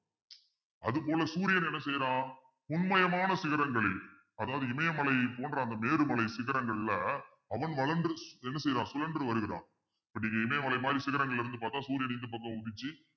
அது போல சூரியன் என்ன செய்யுறான் பொன்மயமான சிகரங்களில் அதாவது இமயமலையை போன்ற அந்த மேரு மலை சிகரங்கள்ல அவன் வளர்ந்து என்ன செய்றான் சுழன்று வருகிறான் இப்படி இமயமலை மாதிரி சிகரங்கள்ல இருந்து பார்த்தால் சூரியன் இந்த பக்கம் உதிச்சு